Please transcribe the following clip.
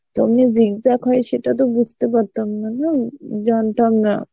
তো zigzag হয় সেটাতো বুঝতে পারতাম না, না জানতাম না